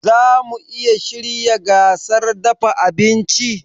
Zamu iya shirya gasar dafa abinci?